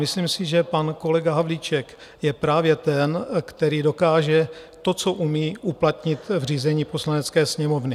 Myslím si, že pan kolega Havlíček je právě ten, který dokáže to, co umí, uplatnit v řízení Poslanecké sněmovny.